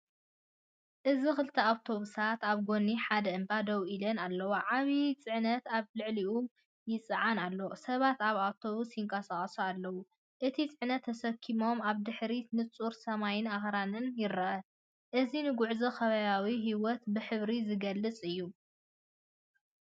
እዚ ክልተ ኣውቶቡሳት ኣብ ጎኒ ሓደ እምባ ደው ኢለን ኣለዋ። ዓቢ ጽዕነት ኣብ ልዕሊኦም ይጽዓን ኣሎ። ሰባት ኣብ ኣውቶቡሳት ይንቀሳቐሱ ኣለዉ፣ ነቲ ጽዕነት ተሰኪሞም፤ ኣብ ድሕሪት ንጹር ሰማይን ኣኽራንን ይርአ። እዚ ንጉዕዞን ከባብያዊ ህይወትን ብሕብሪ ዝገልጽ እዩ።